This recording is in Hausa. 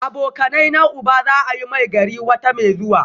Abokanaina uba za a yi Maigari wata mai zuwa